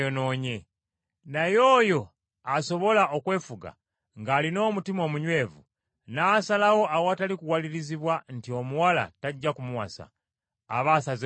Naye oyo asobola okwefuga ng’alina omutima omunywevu, n’asalawo awatali kuwalirizibwa nti omuwala tajja kumuwasa, aba asazeewo bulungi.